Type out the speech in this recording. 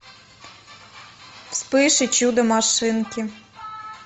вспыш и чудо машинки